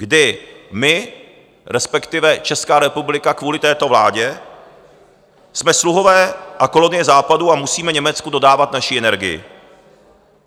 Kdy my, respektive Česká republika, kvůli této vládě jsme sluhové a kolonie Západu a musíme Německu dodávat naši energii.